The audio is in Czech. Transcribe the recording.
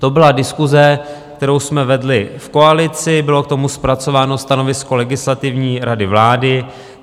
To byla diskuse, kterou jsme vedli v koalici, bylo k tomu zpracováno stanovisko Legislativní rady vlády.